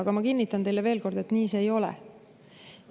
Ent ma kinnitan teile veel kord, et nii see ei ole.